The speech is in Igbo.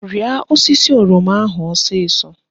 Rịa osisi oroma ahụ ọsịsọ!